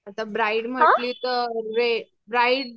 आता ब्राईड म्हंटली तर ब्राईड